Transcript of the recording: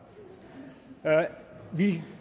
vi